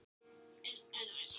Stykkishólmur stendur á Þórsnesi.